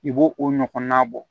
I bo o ɲɔgɔnna bɔ